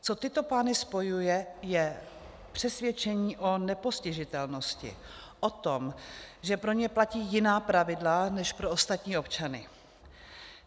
Co tyto pány spojuje, je přesvědčení o nepostižitelnosti, o tom, že pro ně platí jiná pravidla než pro ostatní občany.